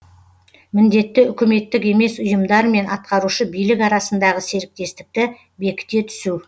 міндеті үкіметтік емес ұйымдар мен атқарушы билік арасындағы серіктестікті бекіте түсу